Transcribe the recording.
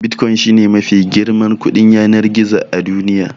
Bitcoin shi ne mafi girman kuɗin yanar gizo a duniya.